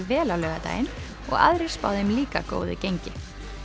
vel á laugardaginn og aðrir spá þeim líka góðu gengi